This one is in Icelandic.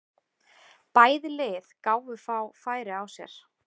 Bæði lið gáfu fá færi á sér.